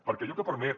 perquè allò que permet